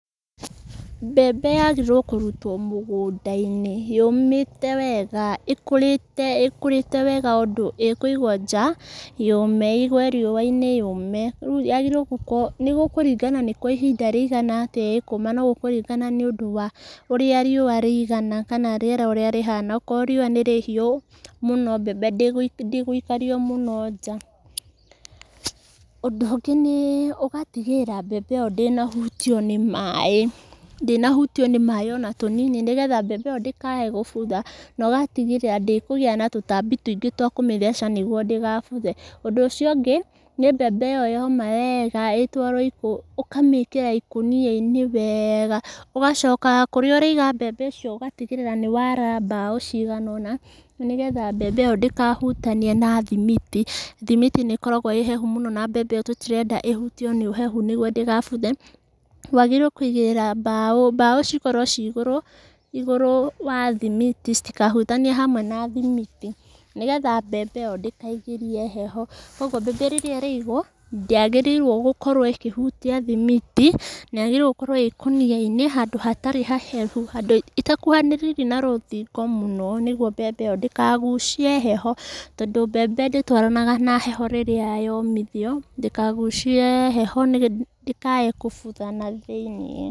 Mbembe yagĩrĩire kũrutwo mũgũnda-inĩ yũmĩte wega, ĩkũrĩte wega ũndũ ĩkũigwo nja, yũme. Igwo riũa-inĩ yũme, rĩu yagĩrĩire gũkorwo, nĩgũkũringana nĩ kwa ihinda rĩigana atĩa ĩkũma no ĩkũringana nĩũndũ wa ũrĩa riũa rĩigana, kana rĩera ũrĩa rĩhana, akorwo riũa nĩ rĩhiũ mũno, mbembe ndĩgũikario mũno nja. Ũndũ ũngĩ nĩ ũgatigĩrĩra mbembe ĩyo ndĩnahutio nĩ maaĩ, ndĩnahutio nĩ maaĩ ona tũnini, nĩgetha mbembe ĩyo ndĩkaaye gũbutha, na ũgatigĩrĩra atĩ ndĩkũgĩa na tũtambi tũingĩ twakũmĩtheca nĩguo ndĩgabuthe. Ũndũ ũcio ũngĩ, nĩ mbembe ĩyo yoma wega ĩtwarwo, ũkamĩkĩra ikũnia-inĩ wega, ũgacoka kũrĩa ũraiga mbembe icio ũgatigĩrĩra nĩwara mbaũ cigana ũna, nĩgetha mbembe ĩyo ndĩkahutanie na thimiti. Thimiti nĩ ĩkoragwo ĩhehu mũno na mbembe ĩyo tũtirenda ĩhutio nĩ ũhehu nĩguo ndĩgabuthe, wagĩrĩirwo kũiga mbaũ, mbaũ cikorwo ciĩ igũrũ, igũrũ wa thimiti citikahutanie hamwe na thimiti nĩgetha mbembe ĩyo ndĩkaingĩrie heho, koguo mbembe hĩndĩ ĩrĩa ĩraigwo, ndĩagĩrĩirwo kũhutia thimiti, na yagĩrĩirwo gũkorwo ĩ ikũnia-inĩ handũ hatarĩ hahehu, ĩtakuhanĩrĩirie na rũthingo mũno, nĩguo mbembe ĩyo ndĩkagucie heho, tondũ mbembe ndĩtwaranaga na heho rĩrĩa yomithio, ndĩkagucie heho ndĩkae gũbutha na thĩiniĩ.